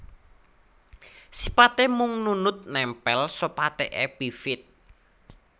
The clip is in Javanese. Sipaté mung nunut nèmpèl sopate epifit